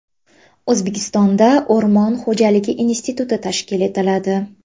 O‘zbekistonda O‘rmon xo‘jaligi instituti tashkil etiladi.